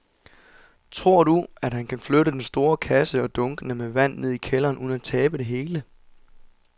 Tror du, at han kan flytte den store kasse og dunkene med vand ned i kælderen uden at tabe det hele?